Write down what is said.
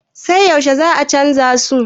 sai yaushe za a canja su?